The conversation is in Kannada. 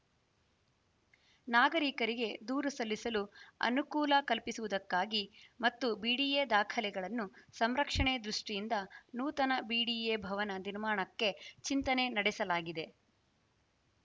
ನಾಗರಿಕರಿಗೆ ದೂರು ಸಲ್ಲಿಸಲು ಅನುಕೂಲ ಕಲ್ಪಿಸುವುದಕ್ಕಾಗಿ ಮತ್ತು ಬಿಡಿಎ ದಾಖಲೆಗಳನ್ನು ಸಂರಕ್ಷಣೆ ದೃಷ್ಟಿಯಿಂದ ನೂತನ ಬಿಡಿಎ ಭವನ ನಿರ್ಮಾಣಕ್ಕೆ ಚಿಂತನೆ ನಡೆಸಲಾಗಿದೆ